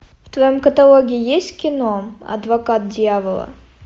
в твоем каталоге есть кино адвокат дьявола